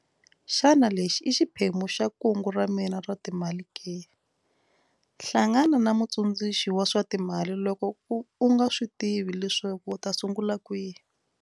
Xana lexi i xiphemu xa kungu ra mina ra timali ke? Hlangana na mutsundzu xi wa swa timali loko u nga swi tivi leswaku u ta sungula kwihi.